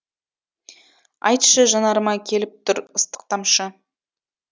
айтшы жанарыма келіп тұр ыстық тамшы